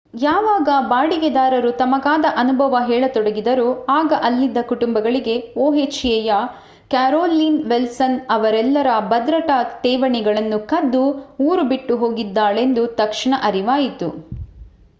ಯಾವಾಗ ಬಾಡಿಗೆದಾರರು ತಮಗಾದ ಅನುಭವ ಹೇಳತೊಡಗಿದರೋ ಆಗ ಅಲ್ಲಿದ್ದ ಕುಟುಂಬಗಳಿಗೆ ohaಯ ಕ್ಯಾರೋಲೀನ್ ವಿಲ್ಸನ್ ಅವರೆಲ್ಲರ ಭದ್ರತಾ ಠೇವಣಿಗಳನ್ನು ಕದ್ದು ಊರು ಬಿಟ್ಟು ಹೋಗಿದ್ದಾಳೆಂದು ತಕ್ಷಣ ಅರ್ಥವಾಯಿತು